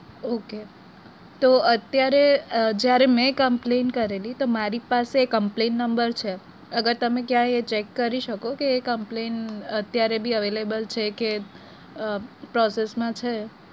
Okay તો અત્યારે જયારે મેં complain કરેલી તો મારી પાસે complain number છે અગર તમે ક્યાં check કરી શકોકે એ complain અત્યારેબી available છે કે અ process માં છે.